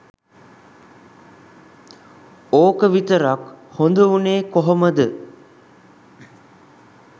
ඕක විතරක් හොද උනේ කොහොමද.?